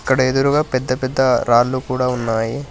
ఇక్కడ ఎదురుగా పెద్ద పెద్ద రాళ్లు కూడా ఉన్నాయి.